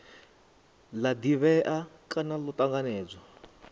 la divhea kana lo tanganedzwaho